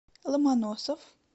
ломоносов